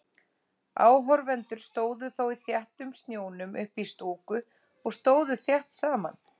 Áhorfendur stóðu þó í þéttum snjónum uppí stúku og stóðu þétt saman.